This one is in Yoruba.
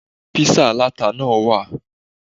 There's peppered pizza too.